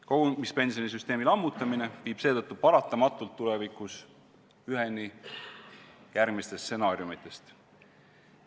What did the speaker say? Kogumispensionisüsteemi lammutamine viib seetõttu paratamatult tulevikus üheni järgmistest stsenaariumitest.